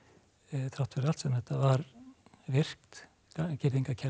þrátt fyrir allt sem þetta var virkt